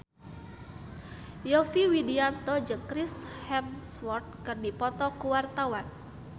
Yovie Widianto jeung Chris Hemsworth keur dipoto ku wartawan